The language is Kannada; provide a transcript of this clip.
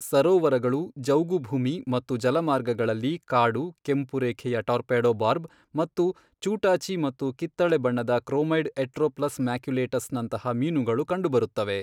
ಸರೋವರಗಳು, ಜೌಗುಭೂಮಿ ಮತ್ತು ಜಲಮಾರ್ಗಗಳಲ್ಲಿ ಕಾಡು, ಕೆಂಪು ರೇಖೆಯ ಟಾರ್ಪೆಡೊ ಬಾರ್ಬ್ ಮತ್ತು ಚೂಟಾಚಿ ಮತ್ತು ಕಿತ್ತಳೆ ಬಣ್ಣದ ಕ್ರೋಮೈಡ್ ಎಟ್ರೋಪ್ಲಸ್ ಮ್ಯಾಕ್ಯುಲೇಟಸ್ನಂತಹ ಮೀನುಗಳು ಕಂಡುಬರುತ್ತವೆ.